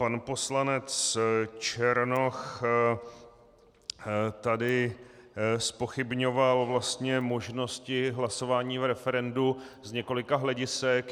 Pan poslanec Černoch tady zpochybňoval vlastně možnosti hlasování v referendu z několika hledisek.